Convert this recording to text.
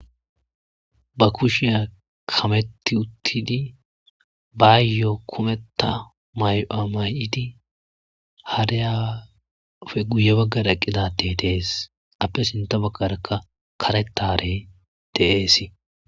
ba kushiya kametti uttidi baayyo kumetta may'uwa may'idi hariyappe guye baggar eqqida addey dees appe sinta baggarakka karetta harey De'es..